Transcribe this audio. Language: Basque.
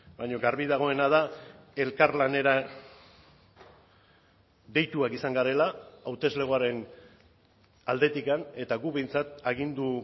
baina garbi dagoena da elkarlanera deituak izan garela hauteslegoaren aldetik eta guk behintzat agindu